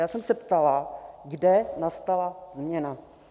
Já jsem se ptala, kde nastala změna.